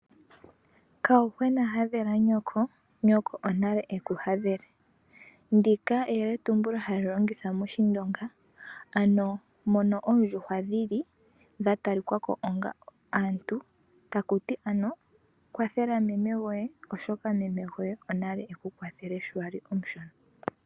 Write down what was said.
Kayuhwena hadhela nyoko, nyoko onale ekuhadhele. Ndika eyeletumbulo halilongithwa moshindonga, ano mono oondjuhwa dhili dhatalikwako onga aantu takuti ano kwathela meme goye oshoka, meme goye onale ekukwathele sho wali omushona.